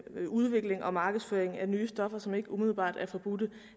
udvikling og markedsføring af nye stoffer som ikke umiddelbart er forbudte